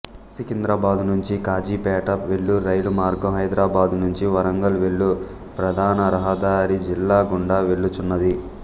సికింద్రాబాదు నుంచి కాజీపేట వెళ్ళు రైలుమార్గం హైదరాబాదు నుంచి వరంగల్ వెళ్ళు ప్రధానరహదారి జిల్లా గుండా వెళ్ళుచున్నది